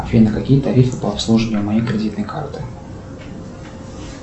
афина какие тарифы по обслуживанию моей кредитной карты